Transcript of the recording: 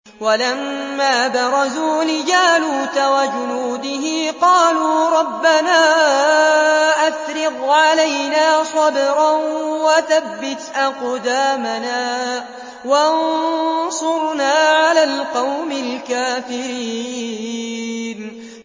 وَلَمَّا بَرَزُوا لِجَالُوتَ وَجُنُودِهِ قَالُوا رَبَّنَا أَفْرِغْ عَلَيْنَا صَبْرًا وَثَبِّتْ أَقْدَامَنَا وَانصُرْنَا عَلَى الْقَوْمِ الْكَافِرِينَ